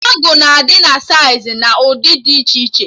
Ọgụ na adị na saịz na ụdị dị iche iche